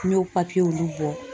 N y'o bɔ